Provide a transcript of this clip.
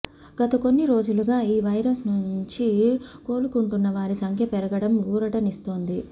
గతకొన్ని రోజులుగా ఈ వైరస్ నుంచి కోలుకుంటున్నవారి సంఖ్య పెరగడం ఊరటనిస్తోంది